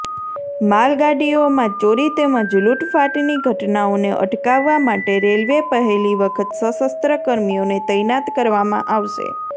માલગાડીઓમાં ચોરી તેમજ લૂંટફાટની ઘટનાઓને અટકાવવા માટે રેલવે પહેલી વખત સશસ્ત્ર કર્મીઓને તૈનાત કરવામાં આવશે